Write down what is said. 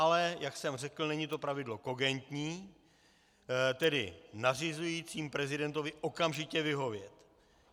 Ale jak jsem řekl, není to pravidlo kogentní, tedy nařizující prezidentovi okamžitě vyhovět.